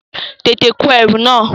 Tètè kó ẹrù náà!